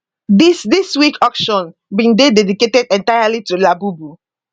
dis dis week auction bin dey dedicated entirely to labubu